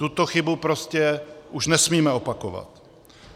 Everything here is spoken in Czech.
Tuto chybu prostě už nesmíme opakovat.